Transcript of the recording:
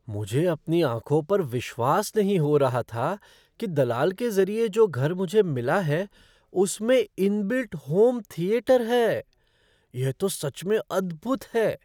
मुझे अपनी आँखों पर विश्वास नहीं हो रहा था कि दलाल के ज़रिए जो घर मुझे मिला है, उसमें इन बिल्ट होम थिएटर है। यह तो सच में अद्भुत है!